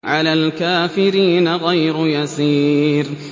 عَلَى الْكَافِرِينَ غَيْرُ يَسِيرٍ